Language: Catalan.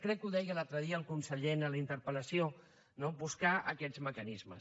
crec que ho deia l’altre dia el conseller en la interpel·lació no buscar aquests mecanismes